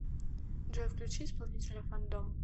джой включи исполнителя фандом